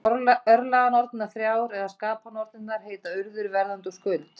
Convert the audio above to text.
Örlaganornirnar þrjár, eða skapanornirnar, heita Urður, Verðandi og Skuld.